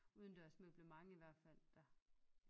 Udendørs møblement i hvert fald der